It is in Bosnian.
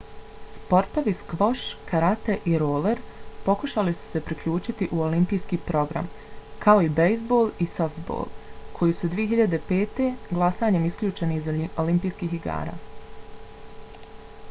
sportovi skvoš karate i roler pokušali su se uključiti u olimpijski program kao i bejzbol i softbol koji su 2005. glasanjem isključeni iz olimpijskih igara